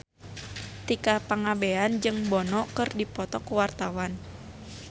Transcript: Tika Pangabean jeung Bono keur dipoto ku wartawan